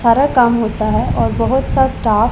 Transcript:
सारा काम होता है और बहुत सा स्टाफ --